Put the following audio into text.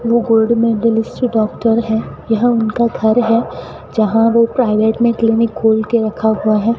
वो गोल्ड में दिल्ली से डॉक्टर हैं यह उनका घर है जहां वो प्राइवेट में क्लीनिक खोल के रखा हुआ है।